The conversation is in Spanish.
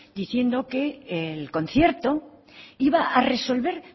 diciendo que el concierto iba a resolver